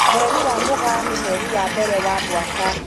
mweri wa mugaa nĩ mweri wa mbere wa mwaka.